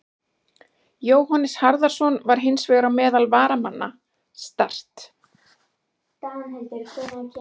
Jóhannes Harðarson var hins vegar á meðal varamanna Start.